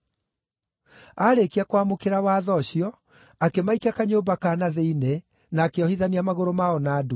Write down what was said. Aarĩkia kwamũkĩra watho ũcio, akĩmaikia kanyũmba ka na thĩinĩ na akĩohithania magũrũ mao na ndungu.